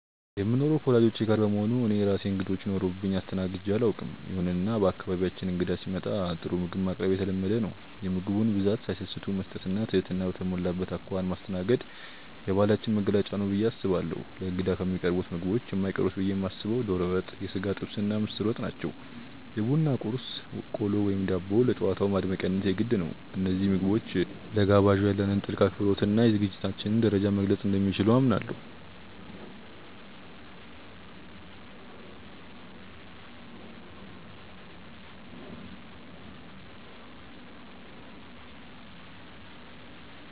የምኖረው ከወላጆቼ ጋር በመሆኑ እኔ የራሴ እንግዶች ኖረውብኝ አስተናግጄ አላውቅም። ይሁንና በአካባቢያችን እንግዳ ሲመጣ ጥሩ ምግብ ማቅረብ የተለመደ ነው። የምግቡን ብዛት ሳይሰስቱ መስጠት እና ትህትና በተሞላበት አኳኋን ማስተናገድ የባህላችን መገለጫ ነው ብዬ አስባለሁ። ለእንግዳ ከሚቀርቡት ምግቦች የማይቀሩት ብዬ የማስበው ዶሮ ወጥ፣ የሥጋ ጥብስ እና ምስር ወጥ ናቸው። የቡና ቁርስ (ቆሎ፣ ዳቦ) ለጨዋታው ማድመቂያነት የግድ ነው። እነዚህ ምግቦች ለጋባዡ ያለንን ጥልቅ አክብሮት እና የዝግጅታችንን ደረጃ መግለፅ እንደሚችሉ አምናለሁ።